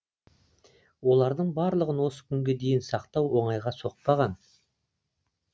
олардың барлығын осы күнге дейін сақтау оңайға соқпаған